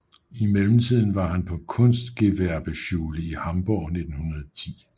I mellemtiden var han på Kunstgewerbeschule i Hamburg 1910